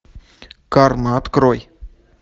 карма открой